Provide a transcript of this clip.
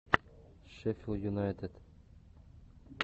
шеффилд юнайтед